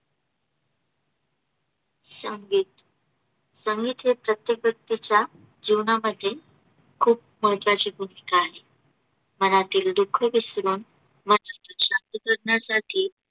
संगीत. संगीत हे प्रत्येक व्यक्तीच्या जीवनामध्ये खूप महत्त्वाची भूमिका आहे. मनातील दुःख विसरून मनाची शांती करण्यासाठी